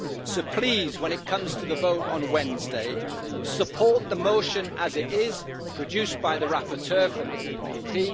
So, please, when it comes to the vote on Wednesday, support the motion as it is, produced by the rapporteur from the EPP.